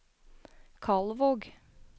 Kalvåg